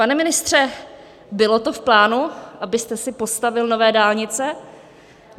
Pane ministře, bylo to v plánu, abyste si postavil nové dálnice?